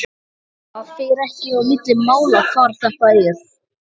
Það fer ekkert á milli mála hvar þetta er.